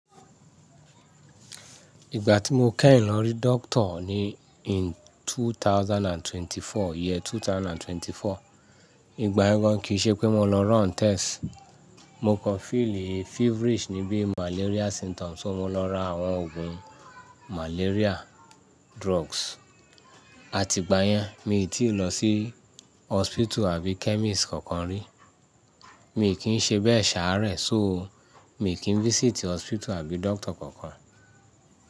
Ìgbà tí mo kẹ́yìn lọ rí doctor ní in two thousand and twenty four, year 2024, ìgbà yen kìí ṣe pé mo lọ rún test. Mo kan feel feverish nibi malaria symptoms, so mo lọ ra àwọn ògùn malaria drugs. A ti ìgbà yẹn mi ò tí ì lọ sí hospital àbí chemist kankan rí. Mi kì í ṣe bẹ́ẹ̀ ṣàárẹ̀, so mi kì í visit hospital àbí doctor kankan.